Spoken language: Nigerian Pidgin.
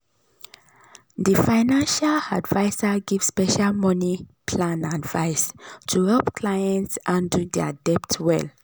di financial adviser give special money plan advice to help clients handle dir debt well.